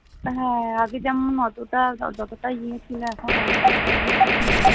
হ্যাঁ আগে যেমন অতটা বা যতটাই গিয়েছিলে এখন ওরকম সেরকম কিছু নেই